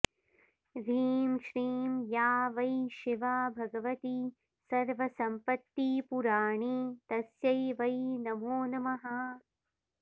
ह्रीं श्रीं या वै शिवा भगवती सर्वसम्पत्तिपूराणी तस्यै वै नमो नमः